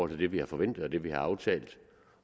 det vi har forventet og det vi har aftalt